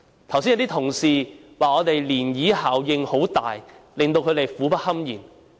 剛才有些同事說漣漪效應很大，令到他們苦不堪言。